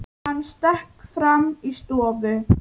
Hann stökk fram í stofu.